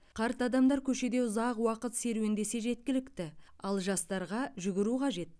қарт адамдар көшеде ұзақ уақыт серуендесе жеткілікті ал жастарға жүгіру қажет